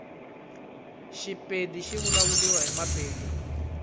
shipedi shivulavuliwa himapedi